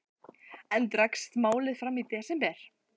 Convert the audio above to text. Enn dregst málið fram í desember.